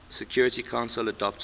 security council adopted